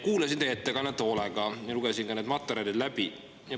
Kuulasin teie ettekannet hoolega ja lugesin ka need materjalid läbi.